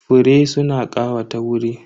Fure suna ƙawata wuri.